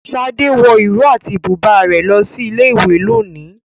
Shade wọ ìró àti bùbá lọ sí ilé ìwé lónìí.